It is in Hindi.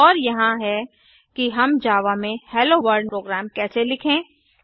और यहाँ है कि हम जावा में हेलोवर्ल्ड प्रोग्राम कैसे लिखें